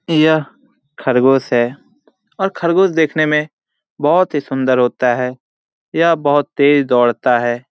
यह खरगोश है और खरगोश देखने में बहोत ही सुंदर होता है यह बहुत तेज दौड़ता हैं ।